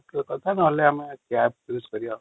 missing text